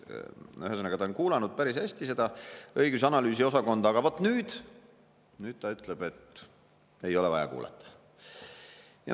Ühesõnaga, ta on kuulanud päris hästi seda õigus- ja analüüsiosakonda, aga vaat nüüd ta ütleb, et ei ole vaja kuulata.